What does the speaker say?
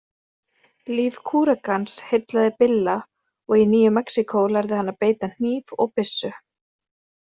Líf kúrekans heillaði Billa og í Nýju-Mexíkó lærði hann að beita hníf og byssu.